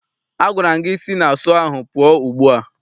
Agwara m gị si na sọọ ahụ pụọ ugbu a!